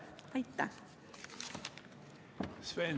Aitäh!